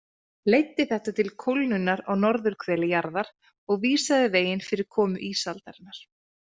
Leiddi þetta til kólnunar á norðurhveli jarðar og vísaði veginn fyrir komu ísaldarinnar.